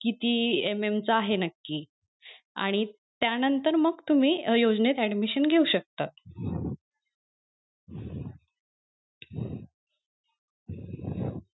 किती MM चा आहे नक्की आणि त्या नंतर मग तुम्ही योजनेत admission घेऊ शकता